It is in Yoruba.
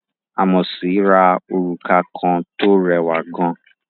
Ámósì ra òrùka kan tó rẹwà gan